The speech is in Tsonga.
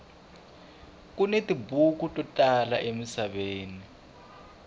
kuni tibuku to tala emisaveni